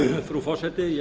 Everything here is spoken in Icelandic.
frú forseti ég